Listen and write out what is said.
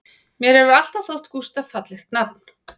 Mér hefur alltaf þótt Gústaf fallegt nafn